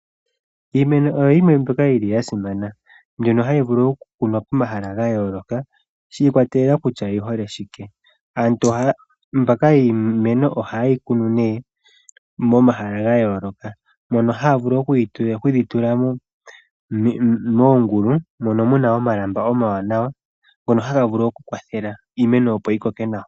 Iimeno oyo yimwe mbyoka yili ya simana mbyono hayi vulu oku kunwa pomahala ga yooloka shi ikwatelela kutya oyi hole shike. Aantu mbaka yiimeno ohaye yi kunu nee momahala ga yooloka, mono haya vulu oku yi tula moongulu, mono muna omalamba omawaanawa ngono haga vulu oku kwathela iimeno yi koke nawa.